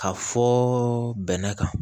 Ka fɔ bɛnɛ kan